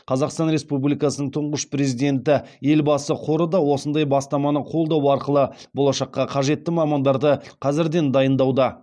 қазақстан республикасының тұңғыш президенті елбасы қоры да осындай бастаманы қолдау арқылы болашақта қажетті мамандарды қазірден дайындауда